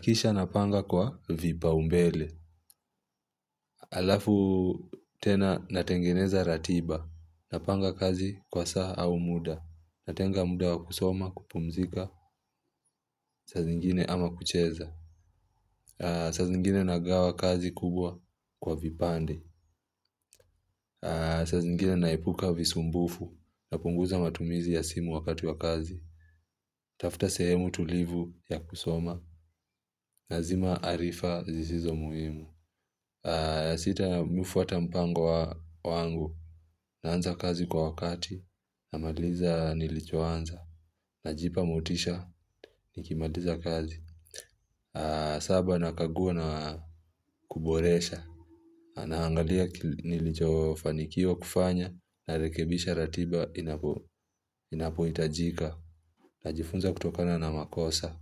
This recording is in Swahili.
Kisha napanga kwa vipau mbele. Alafu tena natengeneza ratiba. Napanga kazi kwa saa au muda. Natenga muda wa kusoma kupumzika saa zingine ama kucheza. Saa zingine nagawa kazi kubwa kwa vipande. Saa zingine naepuka visumbufu napunguza matumizi ya simu wakati wa kazi. Tafuta sehemu tulivu ya kusoma. Nazima arifa zisizo muhimu. Sitamfuata mpango wa wangu. Naanza kazi kwa wakati. Namaliza nilicho anza. Najipa motisha nikimaliza kazi. Saba nakagua na kuboresha na angalia nilicho fanikiwa kufanya. Narekebisha ratiba inapohitajika. Najifunza kutokana na makosa.